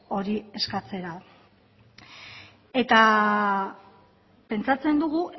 hori eskatzera eta pentsatzen dugu